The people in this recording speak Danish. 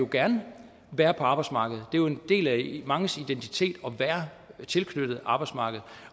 gerne vil være på arbejdsmarkedet det jo en del af manges identitet at være tilknyttet arbejdsmarkedet